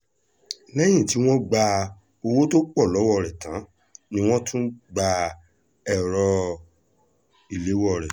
lẹ́yìn tí wọ́n gba owó tó pọ̀ lọ́wọ́ rẹ̀ tán ni wọ́n tún gba èrò ìléwọ́ rẹ̀